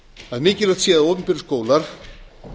að mikilvægt sé að opinberir skólar